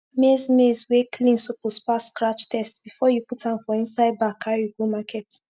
maize maize wey clean suppose pass scratch test before u put am for inside bag carry go market